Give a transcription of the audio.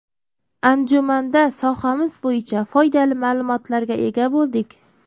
Anjumanda sohamiz bo‘yicha foydali ma’lumotlarga ega bo‘ldik.